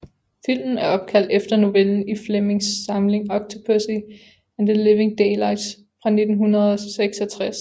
Filmen er opkaldt efter novellen i Flemings samling Octopussy and The Living Daylights fra 1966